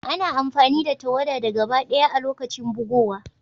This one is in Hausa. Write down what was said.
Ana amfani da tawada da gaba daya a' lokacin bugowa.